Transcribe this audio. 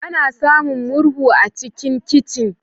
Ana samun murhu a cikin kicin.